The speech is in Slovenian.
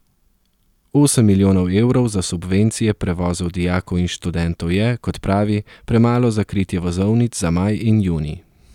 Osem milijonov evrov za subvencije prevozov dijakov in študentov je, kot pravi, premalo za kritje vozovnic za maj in junij.